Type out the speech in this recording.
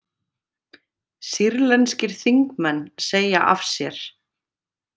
Sýrlenskir þingmenn segja af sér